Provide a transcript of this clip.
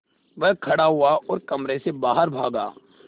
वह खड़ा हुआ और कमरे से बाहर भागा